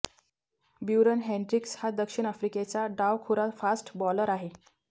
Beuran Hendricks हा दक्षिण आफ्रिकेचा डावखुरा फास्ट बॉलर आहे